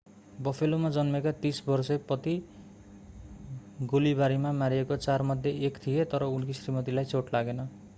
बफेलोमा जन्मेका 30 वर्षे पति गोलीबारीमा मारिएका चारमध्ये एक थिए तर उनकी श्रीमतीलाई चोट लागेन